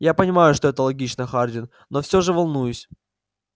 я понимаю что это логично хардин но все же волнуюсь